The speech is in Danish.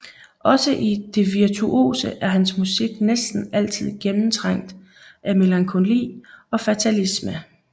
Også i det virtuose er hans musik næsten altid gennemtrængt af melankoli og fatalisme